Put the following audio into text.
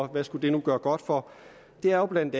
det skulle gøre godt for er jo bla